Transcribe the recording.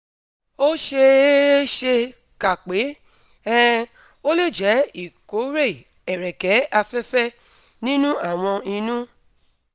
ó ṣe é é ṣe kà pé um ó lè jẹ́ ìkórè ẹ̀rẹ̀kè afẹ́fẹ̀ nínú àwọn inú